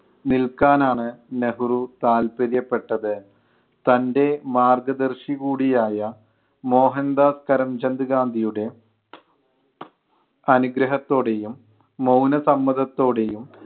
നിൽക്കാനാണ് നെഹ്‌റു താല്പര്യപ്പെട്ടത്. തൻ്റെ മാർഗ്ഗദർശി കൂടി ആയ മോഹൻദാസ് കരംചന്ദ് ഗാന്ധിയുടെ അനുഗ്രഹത്തോടെയും മൗനസമ്മതത്തോടെയും